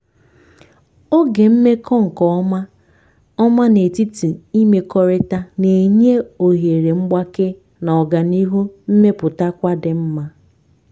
oge mmekọ nke ọma ọma n'etiti imekọrịta na-enye ohere mgbake na oganihu mmepụtakwa di nma.